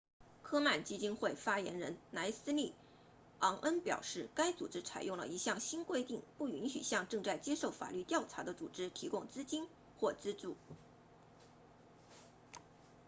科曼基金会 komen foundation 发言人莱斯利昂恩 leslie aun 表示该组织采用了一项新规定不允许向正在接受法律调查的组织提供资助或资金